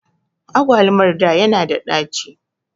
Agwalumar da ya na da ɗaci